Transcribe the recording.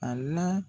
A la